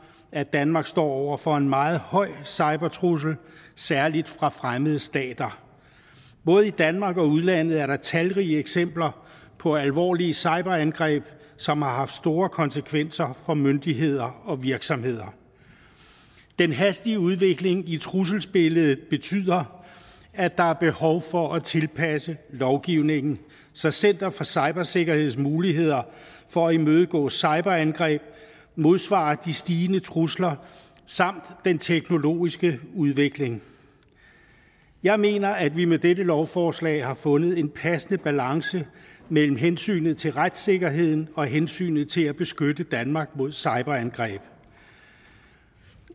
at danmark står over for en meget høj cybertrussel særlig fra fremmede stater både i danmark og i udlandet er der talrige eksempler på alvorlige cyberangreb som har haft store konsekvenser for myndigheder og virksomheder den hastige udvikling i trusselsbilledet betyder at der er behov for at tilpasse lovgivningen så center for cybersikkerheds muligheder for at imødegå cyberangreb modsvarer de stigende trusler samt den teknologiske udvikling jeg mener at vi med dette lovforslag har fundet en passende balance mellem hensynet til retssikkerheden og hensynet til at beskytte danmark mod cyberangreb